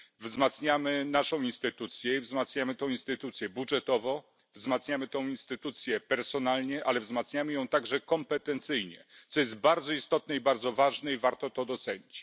Wzmacniamy naszą instytucję i wzmacniamy tę instytucję budżetowo, wzmacniamy tę instytucję personalnie, ale wzmacniamy ją także kompetencyjnie, co jest bardzo istotne i bardzo ważne i warto to docenić.